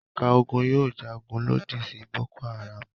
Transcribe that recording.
Ẹ̀ka ogun yóò jagun lòdì sí Boko-Haram.